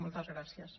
moltes gràcies